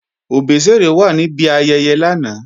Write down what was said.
Òbésèré wà níbi ayẹyẹ lánàá